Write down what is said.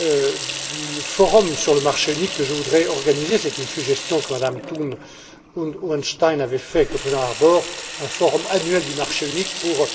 du forum sur le marché unique que je voudrais organiser c'est une suggestion que Mme von Thun und Hohenstein avait faite avec le président Harbour un forum annuel du marché unique